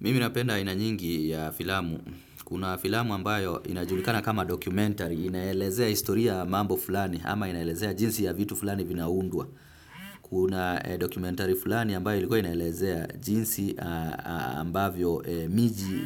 Mimi napenda aina nyingi ya filamu. Kuna filamu ambayo inajulikana kama documentary, inaelezea historia ya mambo fulani ama inaelezea jinsi ya vitu fulani vinaundwa. Kuna documentary fulani ambayo ilikuwa inaelezea jinsi ambavyo